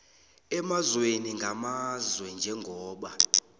emazweni ngamazwe njengoba